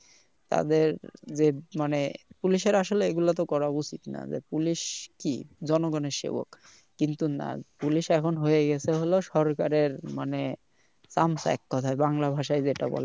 তাদের যে মানে police এর আসলে এগুলা তো করা উচিৎ? না যে police কি জনগনের সেবক কিন্তু না police এখন হয়ে গেছে হলো সরকারের মানে চামচা এক কথায় বাংলা ভাষায় যেটা বলে